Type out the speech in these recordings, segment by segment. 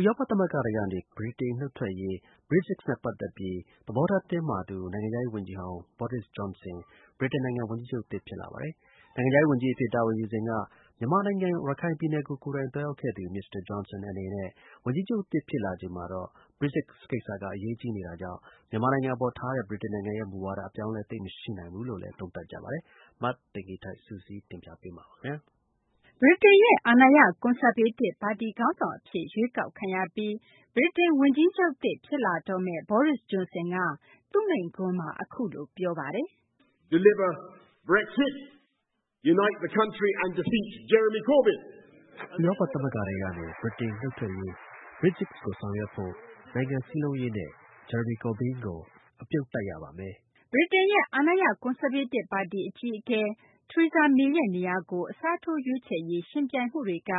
ဥရောပ သမဂ္ဂထဲကနေ ဗြိတိန် နုတ်ထွက်ရေး Brexit နဲ့ ပတ်သက်ပြီး သဘောထား တင်းမာသူ နိုင်ငံခြားရေး ဝန်ကြီးဟောင်း Boris Johnson က ဗြိတိန် ဝန်ကြီးချုပ်သစ် အဖြစ် ရွေးကောက်ခံရပါတယ်။ နိုင်ငံခြားရေး ဝန်ကြီးအဖြစ် တာဝန်ယူစဉ်က မြန်မာနိုင်ငံ ရခိုင်ပြည်နယ်ကို ကိုယ်တိုင်သွားရောက်ခဲ့သူ မစ္စတာ Johnson အနေနဲ့ ဝန်ကြီးချုပ်သစ် ဖြစ်လာချိန်မှာတော့ Brexit ကိစ္စက အရေးကြီးနေတာကြောင့် မြန်မာနိုင်ငံ အပေါ်ထားတဲ့ ဗြိတိန်ရဲ့ မူဝါဒ အပြောင်းအလဲ သိပ်မရှိနိုင်ဘူးလို့လည်း သုံးသပ်ကြပါတယ်။ မသိင်္ဂ ီထိုက် စုစည်းတင်ပြပေးမှာပါ။ ဗြိတိန်ရဲ့ အာဏာရ ကွန်ဆာဗေးတစ် ပါတီခေါင်းဆောင် အဖြစ် ရွေးကောက်ခံရပြီး ဗြိတိန် ဝန်ကြီးချုပ်သစ် ဖြစ်လာတော့မယ့် Boris Johnson က သူ့မိန့်ခွန်းမှာ အခုလို ပြောဆိုခဲ့ပါတယ်။ "ဥရောပ သမဂ္ဂထဲကနေ ဗြိတိန် နုတ်ထွက်ရေး Brexit ကို ဆောင်ရွက်ဖို့၊ နိုင်ငံစည်းလုံးရေးနဲ့ Jaramy Corbyn ကို အပြုတ်တိုက်ရပါမယ်။" ဗြိတိန်ရဲ့ အာဏာရ ကွန်ဆာဗေးတစ် ပါတီအကြီးအကဲ Theresa May ရဲ့ နေရာကို အစားထိုးရွေးချယ်ရေး ယှဉ်ပြိုင်မှုတွေက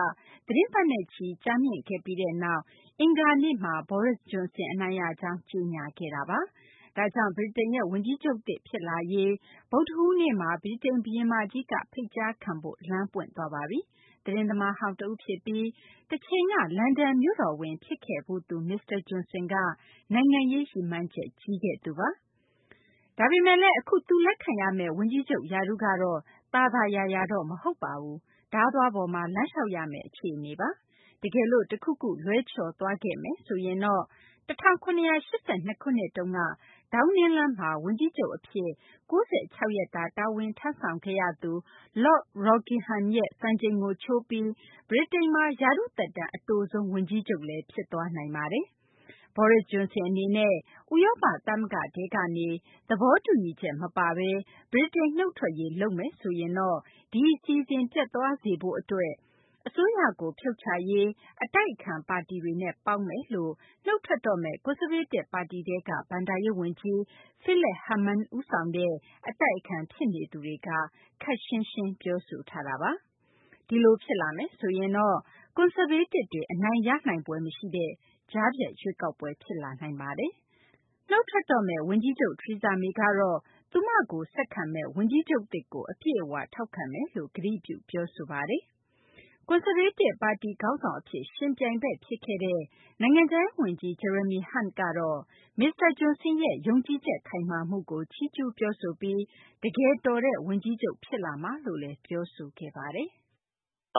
သီတင်းပတ်နဲ့ချီ ကြာမြင့်ခဲ့ပြီးနောက် အင်္ဂါနေ့မှာတော့ Boris Johnson အနိုင်ရကြောင်း ကြေညာခဲ့ပါပြီ။ ဒါကြောင့် ဗြိတိန်ရဲ့ ဝန်ကြီးချုပ်သစ် ဖြစ်လာရေး အတွက် ဗုဒ္ဓဟူးနေ့မှာ ဗြိတိန် ဘုရင်မကြီးက ဖိတ်ကြားခံဖို့ လမ်းပွင့်သွားပါပြီ။ သတင်းသမားဟောင်း တဦးဖြစ်ပြီး တချိန်က လန်ဒန်မြို့တော်ဝန် ဖြစ်ခဲ့ဖူးသူ မစ္စတာ Johnson က နိုင်ငံရေး ရည်မှန်းချက် ကြီးခဲ့သူပါ။ ဒါပေမယ့်လည်း အခု သူ လက်ခံရမယ့် ဝန်ကြီးချုပ် ရာထူးကတော့ သာသာယာယာတော့ မဟုတ်ပါဘူး ဓားသွားပေါ်မှာ လမ်းလျှောက်ရမယ့် အခြေအနေပါ။ တကယ်လို့ တခုခု လွဲချော်သွားခဲ့မယ်ဆိုရင်တော့ ၁၇၈၂ ခုနှစ်တုန်းက ဒေါင်းနင်းလမ်းမှာ ဝန်ကြီးချုပ် အဖြစ် ၉၆ ရက်တာ တာဝန်ထမ်းဆောင်ခဲ့ရသူ Lord Rockingham ရဲ့ စံချိန်ကို ချိုးပြီး ဗြိတိန်မှာ ရာထူးသက်တမ်း အတိုဆုံး ဝန်ကြီးချုပ်လည်း ဖြစ်သွားနိုင်ပါတယ်။ Boris Johnson အနေနဲ့ ဥရောပ သမဂ္ဂထဲကနေ သဘောတူညီချက် မပါဘဲ ဗြိတိန် နုတ်ထွက်ရေး လုပ်မယ်ဆိုရင်တော့ ဒီအစီအစဉ် ပျက်သွားစေဖို့ အတွက် အစိုးရကို ဖြုတ်ချရေး အတိုက်အခံ ပါတီတွေနဲ့ ပေါင်းမယ်လို့ နုတ်ထွက်တော့မယ့် ကွန်ဆာဗေးတစ် ပါတီထဲက ဘဏ္ဍာရေး ဝန်ကြီး Philip Hammond ဦးဆောင်တဲ့ အတိုက်အခံ ဖြစ်နေသူတွေက ခပ်ရှင်းရှင်း ပြောဆိုထားတာပါ။ ဒီလို ဖြစ်လာမယ်ဆိုရင်တော့ ကွန်ဆာဗေးတစ်တွေ အနိုင်ရနိုင်ဖွယ် မရှိတဲ့ ကြားဖြတ်ရွေးကောက်ပွဲ ဖြစ်လာနိုင်တာပါ။ နုတ်ထွက်တော့မယ့် ဝန်ကြီးချုပ် Theresa May ကတော့ သူမကို ဆက်ခံမယ့် ဝန်ကြီးချုပ်သစ်ကို အပြည့်အ၀ ထောက်ခံမယ်လို့ ကတိပြု ပြောဆိုခဲ့ပါတယ်။ ကွန်ဆာဗေးတစ် ပါတီခေါင်းဆောင် အဖြစ် ယှဉ်ပြိုင်ဘက် ဖြစ်ခဲ့တဲ့ နိုင်ငံခြားရေး ဝန်ကြီး Jeremy Hunt ကတော့ မစ္စတာ Johnson ရဲ့ ယုံကြည်ချက် ခိုင်မာမှုကို ချီးကျူး ပြောဆိုပြီး တကယ်တော်တဲ့ ဝန်ကြီးချုပ် ဖြစ်လာမှာပါလို့ ပြောဆိုခဲ့ပါတယ်။ "ဝ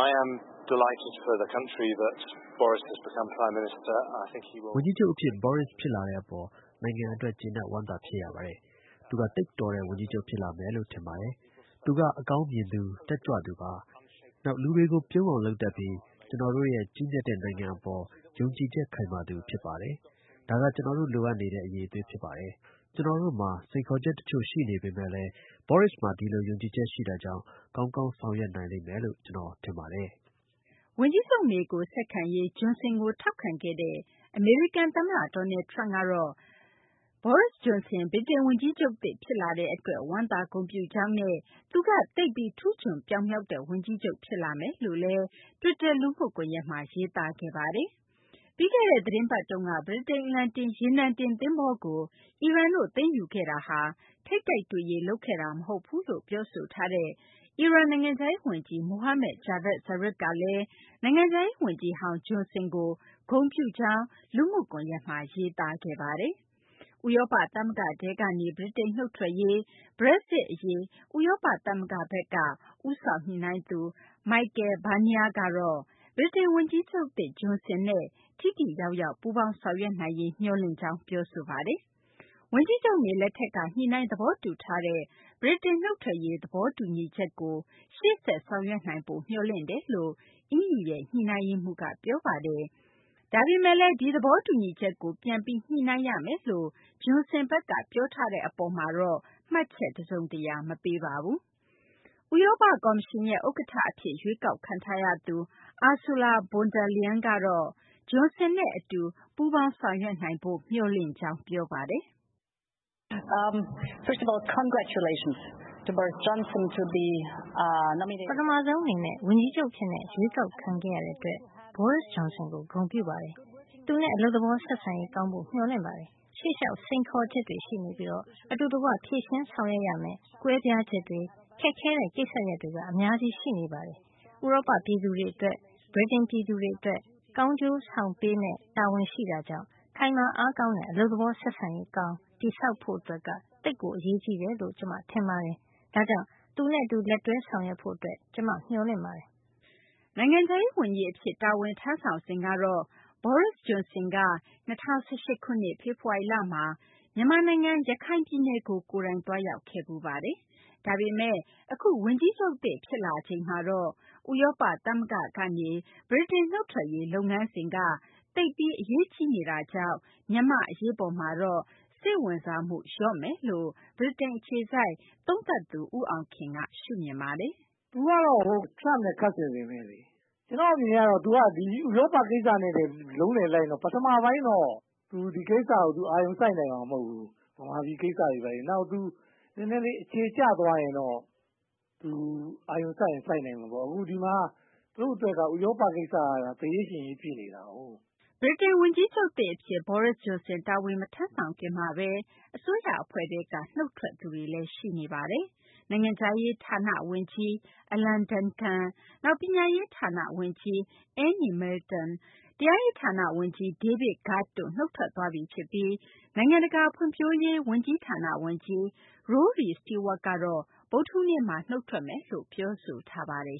န်ကြီးချုပ် အဖြစ် Boris ဖြစ်လာတဲ့ အပေါ် နိုင်ငံအတွက် ကျေနပ်ဝမ်းသာ ဖြစ်ရပါတယ်။ သူက သိပ်တော်တဲ့ ဝန်ကြီးချုပ် ဖြစ်လာမယ်လို့ ထင်ပါတယ်။ သူက အကောင်မြင်သူ၊ တက်ကြွသူပါ။ နောက် လူတွေကို ပြုံးအောင် လုပ်တတ်ပြီး ကျနော်တို့ရဲ့ ကြီးမြတ်တဲ့ နိုင်ငံအပေါ် ယုံကြည်ချက် ခိုင်မာသူ ဖြစ်ပါတယ်။ ဒါက ကျနော်တို့ လိုအပ်နေတဲ့ အရည်အသွေးဖြစ်ပါတယ်။ ကျနော်တို့မှာ စိန်ခေါ်ချက် တချို့ ရှိပေမယ့်လည်း Boris မှာ ဒီလို ယုံကြည်ချက် ရှိတာကြောင့် ကောင်းကောင်း ဆောင်ရွက်နိုင်မယ်လို့ ကျနော် ထင်ပါတယ်။" ဝန်ကြီးချုပ် မေကို ဆက်ခံရေး Johnson ကို ထောက်ခံခဲ့တဲ့ အမေရိကန် သမ္မတ Donald Trump ကတော့ Boris Johnson ဗြိတိန် ဝန်ကြီးချုပ်သစ် ဖြစ်လာတဲ့ အတွက် ဝမ်းသာ ဂုဏ်ပြုကြောင်းနဲ့ သူက သိပ်ပြီး ထူးချွန်ပြောင်မြောက်တဲ့ ဝန်ကြီးချုပ် ဖြစ်လာမယ်လို့လည်း တွစ်တာ လူမှုကွန်ယက်မှာ ရေးသားခဲ့ပါတယ်။ ပြီးခဲ့တဲ့ သတင်းပတ်တုန်းက ဗြိတိန် အလံတင် ရေနံတင် သဘောၤကို အီရန်တို့ သိမ်းယူခဲ့တာဟာ ထိပ်တိုက်တွေ့ရေး လုပ်ခဲ့တာ မဟုတ်ဘူးလို့ ပြောဆိုထားတဲ့ အီရန် နိုင်ငံခြားရေး ဝန်ကြီး Mohammad Javad Zarif ကလည်း နိုင်ငံခြားရေး ဝန်ကြီးဟောင်း Johnson ကို ဂုဏ်ပြုကြောင်း လူမှုကွန်ယက်မှာ ရေးသားခဲ့ပါတယ်။ ဥရောပ သမဂ္ဂထဲကနေ ဗြိတိန်နုတ်ထွက်ရေး Brexit အရေး ဥရောပ သမဂ္ဂရဲ့ ဦးဆောင်ညှိနှိုင်းသူ Michel Barnier ကတော့ ဗြိတိန် ဝန်ကြီးချုပ်သစ် Johnson နဲ့ ထိထိရောက်ရောက် ပူးပေါင်းဆောင်ရွက်နိုင်ရေး မျှော်လင့်ကြောင်း ပြောဆိုခဲ့ပါတယ်။ ဝန်ကြီးချုပ် May လက်ထက်က ညှိနှိုင်း သဘောတူထားတဲ့ ဗြိတိန် နုတ်ထွက်ရေး သဘောတူညီချက်ကို ရှေ့ဆက် ဆောင်ရွက်နိုင်ဖို့ မျှော်လင့်တယ်လို့ EU ရဲ့ ညှိနှိုင်းရေးမှူး Barnier က ပြောဆိုခဲ့ပါတယ်။ ဒါပေမယ့် ဒီသဘောတူညီချက်ကို ပြန်ပြီး ညှိနှိုင်းရမယ်လို့ Johnson ဘက်က ပြောထားတဲ့ အပေါ်မှာတော့ မှတ်ချက် တစုံတရာ မပေးခဲ့ပါဘူး။ ဥရောပ ကော်မရှင်ရဲ့ ဥက္ကဌ အဖြစ် ရွေးကောက်ခံထားရသူ Ursula von der Leyen ကတော့ Johnson နဲ့ အတူး ပူးပေါင်းဆောင်ရွက်နိုင်ဖို့ မျှော်လင့်ကြောင်း ပြောဆိုပါတယ်။ "ပထမဆုံး အနေနဲ့ ဝန်ကြီးချုပ်အဖြစ် ရွေးကောက်ခံရတဲ့ အတွက် Boris Johnson ကို ဂုဏ်ပြုပါတယ်။ သူနဲ့ အလုပ်သဘော ဆက်ဆံရေး ကောင်းဖို့ မျှော်လင့်ပါတယ်။ ရှေ့လျှောက် စိန်ခေါ်ချက်တွေ ရှိနေပြီး အတူတကွ ဖြေရှင်းဆောင်ရွက်ရမယ့် ကွဲပြားချက်တွေ၊ ခက်ခဲတဲ့ ကိစ္စရပ်တွေ အများကြီး ရှိနေပါတယ်။ ဥရောပ ပြည်သူတွေအတွက် ဗြိတိန် ပြည်သူတွေ အတွက် ကောင်းကျိုးဆောင်ပေးရမယ့် တာဝန်ရှိတာကြောင့် ခိုင်မာအားကောင်းတဲ့ အလုပ်သဘော ဆက်ဆံရေး ကောင်း တည်ဆောက်ဖို့က သိပ် အရေးကြီးတယ်လို့ ကျမ ထင်ပါတယ်။ ဒါကြောင့် သူနဲ့ အတူ လက်တွဲ ဆောင်ရွက်ဖို့ အတွက် ကျမ မျှော်လင့်ပါတယ်။" နိုင်ငံရေးခြားရေး ဝန်ကြီး အဖြစ် တာဝန်ထမ်းဆောင်စဉ်ကတော့ Boris Johnson က ၂၀၁၈ ခုနှစ် ဖေဖော်ဝါရီလမှာ မြန်မာနိုင်ငံ ရခိုင်ပြည်နယ်ကို ကိုယ်တိုင်သွားရောက်ခဲ့ဖူးပါတယ်။ ဒါပေမယ့် အခု ဗြိတိန် ဝန်ကြီးချုပ်သစ် ဖြစ်လာချိန်မှာတော့ ဥရောပ သမဂ္ဂထဲကနေ ဗြိတိန် နုတ်ထွက်ရေး လုပ်ငန်းစဉ်က သိပ်ပြီး အရေးကြီးနေတာကြောင့် မြန်မာ့ အရေးပေါ်မှာတော့ စိတ်ဝင်စားမှု လျော့မယ်လို့လည်း ဗြိတိန် အခြေစိုက် သုံးသပ်သူ ဦးအောင်ခင်က ရှုမြင်ပါတယ်။ " ကျနော့်အမြင်ကတော့ သူက ဒီဥရောပကိစ္စနဲ့ပဲ လုံးလည်လိုက်နေတော့ ပထမပိုင်းတော့ သူ အာရုံစိုက်နိုင်မှာတော့မဟုတ်ဘူး။ မြန်မာပြည်ကိစ္စတွေဘာတွေ နည်းနည်းလေးအခြေကျသွားရင်တော့ သူအာရုံစိုက်ရင် စိုက်နိုင်မှာပေါ့။ ဒီမှာ သူ့အတွက်က ဥရောပကိစ္စက သေရေးရှင်ရေးဖြစ်နေတာကို " ဗြိတိန် ဝန်ကြီးချုပ်သစ် အဖြစ် Boris Johnson တာဝန်မထမ်းဆောင်ခင်မှာဘဲ အစိုးရ အဖွဲ့ထဲက နုတ်ထွက်သူတွေလည်း ရှိနေပါတယ်။ နိုင်ငံခြားရေး ဌာန ဝန်ကြီး Alan Duncan၊ နောက် ပညာရေး ဌာန ဝန်ကြီး Anne Milton၊ တရားရေးဌာန ဝန်ကြီး David Gauke တို့ နုတ်ထွက်သွားပြီ ဖြစ်ပြီး နိုင်ငံတကာ ဖွံ့ဖြိုးရေး ဝန်ကြီးဌာန ဝန်ကြီး Rory Stewart ကတော့ ဗုဒ္ဓဟူးနေ့မှာ နုတ်ထွက်မယ်လို့ ပြောဆိုထားပါတယ်